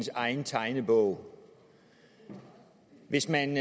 egen tegnebog hvis man